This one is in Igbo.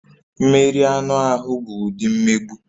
Mmeri anụ ahụ bụ ụdị mmegbu